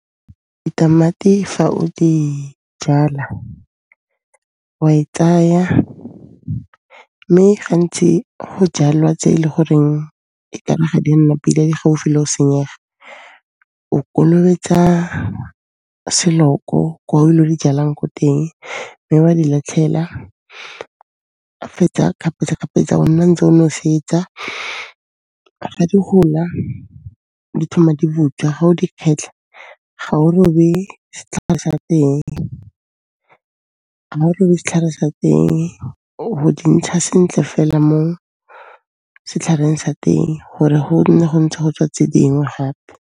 Ditamati fa o di jala, wa e tsaya mme gantsi go jalwa tse e le goreng e kare ga di a nna pila, di gaufi le o senyega. O kolobetsa selo ko ilo di jalang ko teng mme wa di latlhela, ga o fetsa kgapetsa-kgapetsa o nna o ntse o nosetsa. Fa di gola di thoma di butswa ga o di kgetlha, ga o robe setlhare sa teng. Ga o robe setlhare sa teng ob'o di ntsha sentle fela mo setlhareng sa teng gore go nne go ntse go tswa tse dingwe gape.